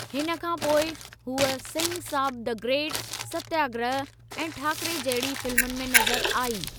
हिन खां पोइ, हूअ सिंह साब द ग्रेट, सत्याग्रह ऐं ठाकरे जहिड़ी फ़िल्मुनि में नज़रु आई।